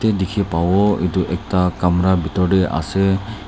Dekhe pavo etu ekta kamra bethor dae ase.